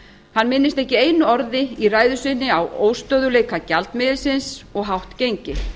hann minnist ekki einu orði í ræðu sinni á óstöðugleika gjaldmiðilsins og hátt gengi